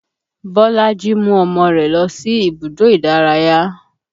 Bolaji mú ọmọ rẹ̀ lọ sí ibùdó ìdárayá